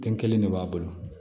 Den kelen de b'a bolo